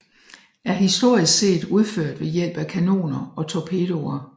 Er historisk set udført ved hjælp af kanoner og torpedoer